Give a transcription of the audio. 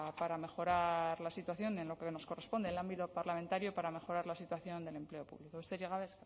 para mejorar la situación en lo que nos corresponde el ámbito parlamentario para mejorar la situación del empleo público besterik gabe